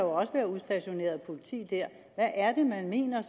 også være udstationeret politi dér hvad er det man mener